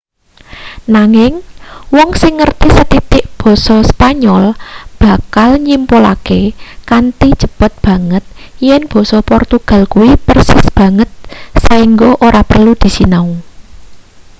nanging wong sing ngerti sethitik basa spanyol bakal nyimpulke kanthi cepet banget yen basa portugal kuwi persis banget saingga ora perlu disinau